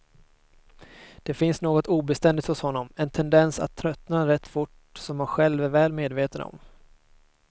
Det finns något obeständigt hos honom, en tendens att tröttna rätt fort som han själv är väl medveten om.